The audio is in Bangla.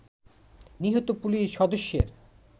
নিহত পুলিশ সদস্যের